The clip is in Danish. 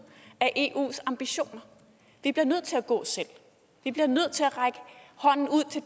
af eus ambitioner vi bliver nødt til at gå selv vi bliver nødt til at række hånden ud til